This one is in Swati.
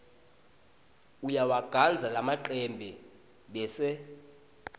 uyawagandza lamacembe bese